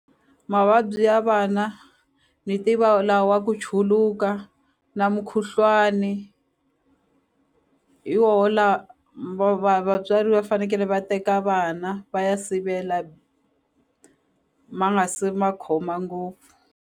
Mavabyi ya vana ni tiva la wa ku chuluka na mukhuhlwani hi woho la va va vatswari va fanekele va teka vana va ya sivela ma nga se ma khoma ngopfu.